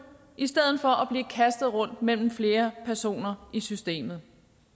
i stedet for at blive kastet rundt mellem flere personer i systemet